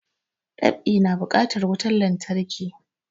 Dab'i na bukatar wutan lantarki